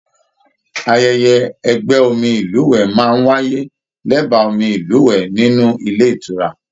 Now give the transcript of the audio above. Ayẹyẹ ẹgbẹ omi ilúwẹ máa n wáyé l'ẹba omi ilúwẹ nínú ilé ìtura.